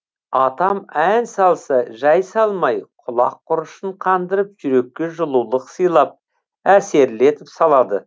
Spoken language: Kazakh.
атам ән салса жай салмай құлақ құрышын қандырып жүрекке жылулық сыйлап әсерлі етіп салады